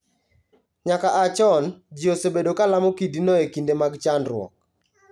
Nyaka a chon, ji osebedo ka lamo kidino e kinde mag chandruok.